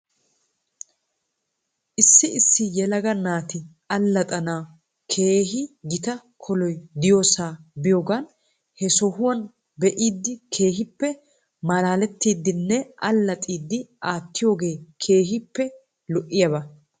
Issi issi yelaga naati allaxxana keehi gita koloy diyoosaa biyoogan he sohuwaa be'idi keehippe malaalettiiddinne allaxiidi aattiyoogge keehippe lo'iyaaba .